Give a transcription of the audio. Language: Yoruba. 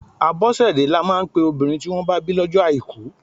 Abosede lọ máa ń pe obìnrin tí wọn bá bí lọ́jọ́ àìkú.